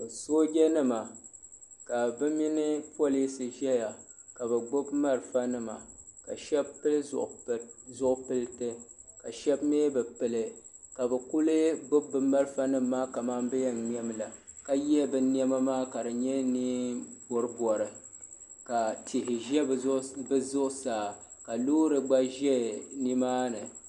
Sooja nima ka bɛ mini pirinsi zaya ka bɛ gbibi marafa nima ka sheba pili zipilti ka sheba mee bi pili ka bɛ kuli gbibi bɛ marafa nima maa kaman bɛ yen ŋmɛmi la ka ye bɛ niɛma maa ka di nyɛ niɛn'poripori ka tihi ʒɛ bɛ zuɣusaa ka loori gba ʒɛ nimaani.